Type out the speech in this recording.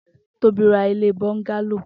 Tobi rà ilé bọngàló